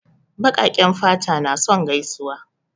Baƙaƙen fata na son gaisuwa.